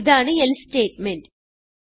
ഇതാണ് else statement